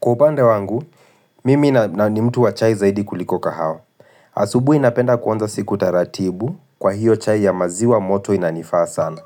Kwa upande wangu, mimi ni mtu wa chai zaidi kuliko kahawa. Asubuhi napenda kuanza siku taratibu kwa hiyo chai ya maziwa moto inanifaa sana.